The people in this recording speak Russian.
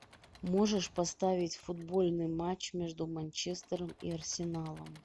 можешь поставить футбольный матч между манчестером и арсеналом